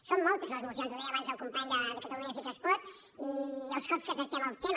són moltes les mocions ho deia abans el company de catalunya sí que es pot i els cops que tractem el tema